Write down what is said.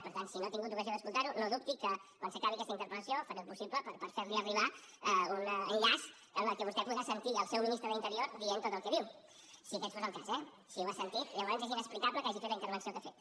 per tant si no ha tingut ocasió d’escoltar ho no dubti que quan s’acabi aquesta interpel·lació faré el possible per fer li arribar un enllaç en què vostè podrà sentir el seu ministre de l’interior dient tot el que diu si aquest fos el cas eh si ho ha sentit llavors és inexplicable que hagi fet la intervenció que ha fet